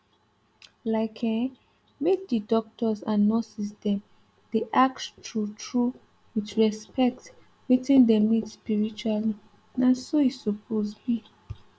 like eh make d doctors and nurses dem dey ask true true with respect wetin dem need spiritually na so e suppose be